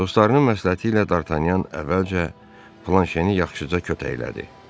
Dostlarının məsləhəti ilə Dartanyan əvvəlcə Planşeni yaxşıca kötəklədi.